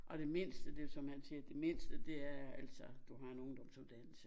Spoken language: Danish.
Og det mindste det som man siger det mindste det er altså du har en ungdomsuddannelse